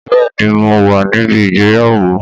Bẹ́ẹ̀ ni, mo wà níbi ìgbéyàwó